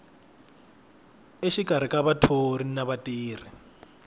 exikarhi ka vathori na vatirhi